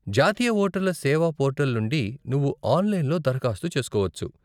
జాతీయ వోటర్ల సేవా పోర్టల్ నుండి నువ్వు ఆన్లైన్లో దారఖాస్తు చేసుకోవచ్చు.